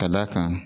Ka d'a kan